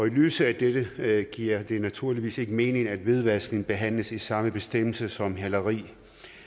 lyset af dette giver det naturligvis ikke mening at hvidvaskning behandles i samme bestemmelse som hæleri